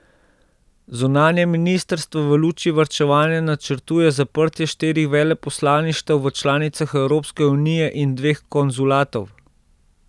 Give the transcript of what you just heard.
Zunanje ministrstvo v luči varčevanja načrtuje zaprtje štirih veleposlaništev v članicah Evropske unije in dveh konzulatov.